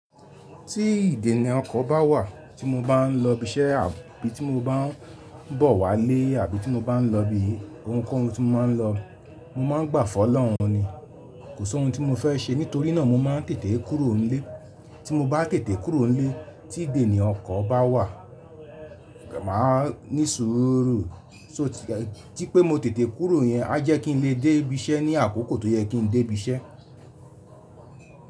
Tí ìdènà ọkọ̀ bá wà tí mo bá ń lọ ibi iṣẹ́ àbí tí mo bá ń bọ̀ wá ilé àbí tí mo bá ń lọ ibi ohunkóhun tí mo máa ń lọ, mo máa ń gbàfọ̀ Ọlọ́run ni. Kò sí ohun tí mo fẹ́ ṣe nítorí náà mo máa ń tètè kúrò ńlé. Tí mo bá tètè kúrò ńlé tí ìdènì ọkọ̀ bá wà, màá ní sùúrù tí pé mo tètè kúrò yẹn a jẹ́ kí n lè dé ibi iṣẹ́ ní àkókò tó yẹ kí n dé ibi iṣẹ́.